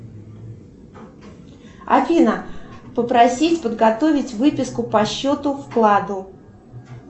афина попросить подготовить выписку по счету вкладу